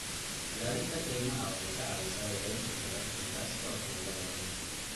Ilaalinta kaymaha waxay ka caawisaa yareynta heerarka gaaska waxyeellada leh.